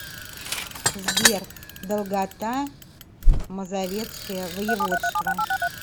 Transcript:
сбер долгота мазовецкое воеводство